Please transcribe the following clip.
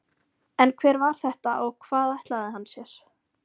En hver var þetta og hvað ætlaði hann sér?